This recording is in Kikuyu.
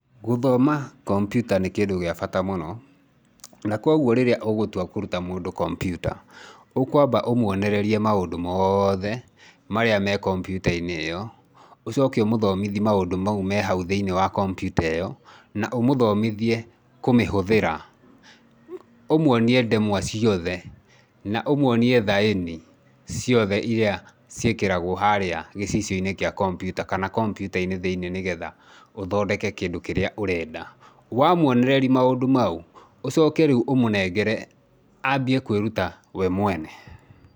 Gũthoma kompiuta nĩ kĩndũ gĩa bata mũno, na koguo rĩrĩa ũgũtua kũruta mũndũ kompiuta, ũkwamba ũmwonererie maũndũ mothe marĩa me kompiuta-inĩ ĩyo. Ũcoke ũmũthomithi maũndũ mau me hau thĩiniĩ wa kompiuta ĩyo na ũmũthomithie kũmihũthĩra. Ũmwonie ndemwa ciothe na ũmũonie thaĩni ciothe iria ciĩkĩragwo harĩa gĩcicio-inĩ kĩa kompiuta, kana kompiuta-inĩ thĩinĩ nĩgetha ũthondeke kĩndũ kĩrĩa ũrenda. Wamwonereri maũndũ mau, ũcoke rĩu ũmũnengere aambie kwĩruta we mwene.